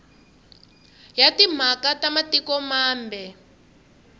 ya timhaka ta matiko mambe